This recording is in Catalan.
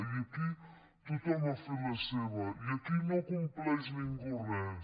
i aquí tothom ha fet la seva i aquí no compleix ningú res